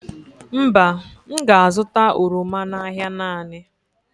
Mba, m ga-azụta oroma n'ahịa naanị.